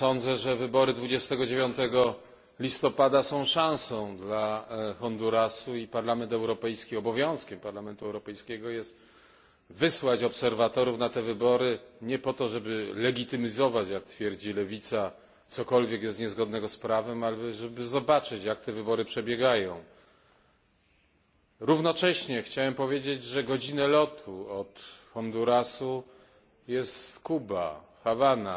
Sądzę, że wybory 29 listopada są szansą dla Hondurasu i obowiązkiem Parlamentu Europejskiego jest wysłanie obserwatorów na te wybory, nie po to, żeby legitymizować jak twierdzi lewica coś niezgodnego z prawem, ale żeby zobaczyć, jak te wybory przebiegają. Równocześnie chciałem powiedzieć, że godzinę lotu od Hondurasu jest Kuba, Hawana.